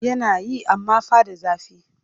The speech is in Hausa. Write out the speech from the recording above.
Yana yi amma fa da zafi